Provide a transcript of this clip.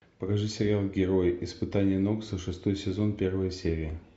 покажи сериал герои испытание нокса шестой сезон первая серия